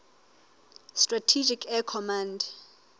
strategic air command